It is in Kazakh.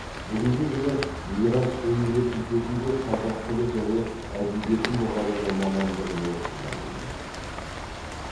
бүгінгі күні мирас университетінде қазақ тілі және әдебиеті мұғалімі мамандығын оқып жатырмын